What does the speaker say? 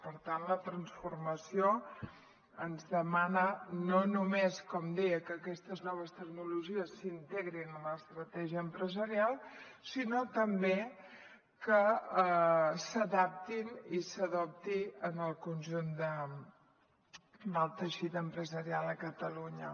per tant la transformació ens demana no només com deia que aquestes noves tecnologies s’integrin en l’estratègia empresarial sinó també que s’adaptin i s’adoptin en el conjunt del teixit industrial de catalunya